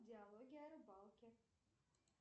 диалоги о рыбалке